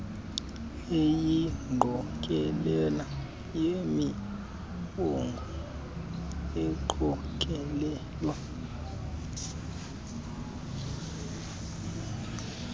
eyingqokelela yemibongo eqokelelwe